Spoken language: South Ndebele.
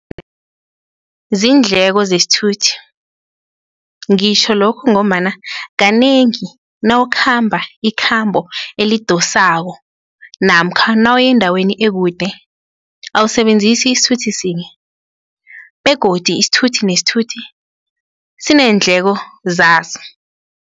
Ziindleko zesithuthi ngitjho lokhu ngombana kanengi nawukhamba ikhambo elidosako namkha nawuya endaweni ekude, awusebenzisi isithuthi sinye begodi isithuthi nesithuthi sineendleko zaso.